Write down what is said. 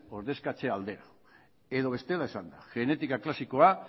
ordezkatzea alde edo bestela esanda genetika klasikoa